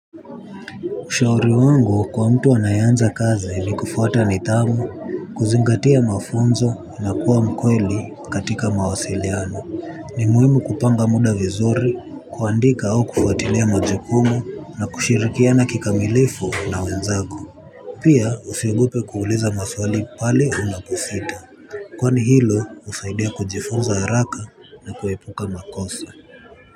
Ushauri wangu kwa mtu anayeanza kazi ni kufuata nidhamu, kuzingatia mafunzo na kuwa mkweli katika mawasiliano. Ni muhimu kupanga muda vizuri, kuandika au kufuatilia majukumu na kushirikiana kikamilifu na wenzako. Pia usiogope kuuliza maswali pale unaposita. Kwani hilo husaidia kujifunza haraka na kuepuka makoso.